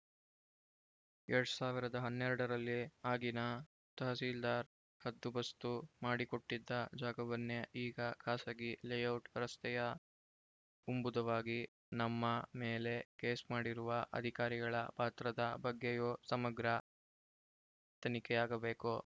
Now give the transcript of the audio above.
ಎರಡ್ ಸಾವಿರದ ಹನ್ನೆರಡರಲ್ಲಿ ಆಗಿನ ತಹಸೀಲ್ದಾರ್‌ ಹದ್ದುಬಸ್ತು ಮಾಡಿಕೊಟ್ಟಿದ್ದ ಜಾಗವನ್ನೇ ಈಗ ಖಾಸಗಿ ಲೇಔಟ್‌ ರಸ್ತೆಯ ಉಂಬುದಾಗಿ ನಮ್ಮ ಮೇಲೆ ಕೇಸ್‌ ಮಾಡಿರುವ ಅಧಿಕಾರಿಗಳ ಪಾತ್ರದ ಬಗ್ಗೆಯೂ ಸಮಗ್ರ ತನಿಖೆಯಾಗಬೇಕು